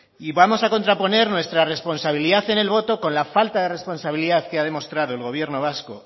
y vamos a contraponer nuestra responsabilidad en el voto con la falta de responsabilidad que ha demostrado el gobierno vasco